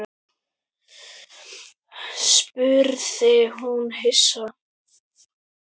spurði hún hissa.